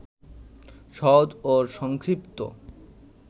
সহজ ও সংক্ষিপ্ত